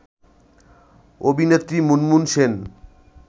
অভিনেত্রী মুনমুন সেন